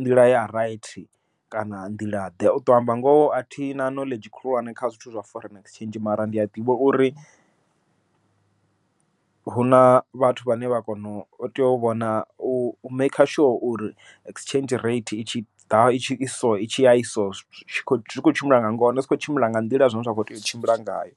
nḓila ya raithi kana nḓila ḓe. U ṱo amba ngoho a thina knowledge khulwane kha zwithu zwa foreign exchange mara ndi a ḓivha uri, huna vhathu vhane vha kona u tea u vhona u maker sure uri exchange rate itshi ḓa i so itshi ya i so zwi khou tshimbila nga ngona zwi khou tshimbila nga nḓila ine zwa kho tea u tshimbila ngayo.